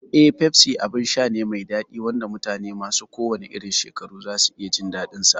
Eh, Pepsi abin sha ne mai daɗi wanda mutane masu kowanne irin shekaru za su iya jin daɗinsa.